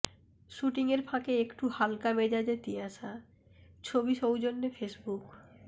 shooting এর ফাঁকে একটু হালকা মেজাজে তিয়াশা ছবি সৌজন্যে ফেসবুক